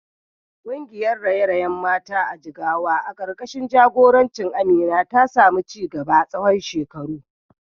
Kungiyar raye-rayen mata a Jigawa karkashin jagorancin Amina ta samu ci gaba tsawon shekaru.